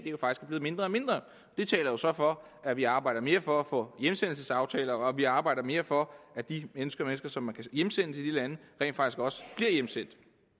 er blevet mindre og mindre det taler jo så for at vi arbejder mere for at få indgået hjemsendelsesaftaler og at vi arbejder mere for at de mennesker som man kan hjemsende til de lande rent faktisk også bliver hjemsendt